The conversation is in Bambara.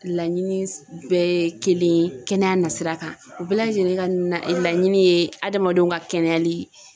Laɲini bɛɛ ye kelen ye kɛnɛya nasira kan u bɛɛ lajɛlen ka na e laɲini ye adamadenw ka kɛnɛyali ye